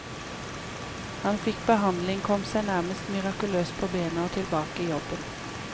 Han fikk behandling, kom seg nærmest mirakuløst på bena og tilbake i jobb.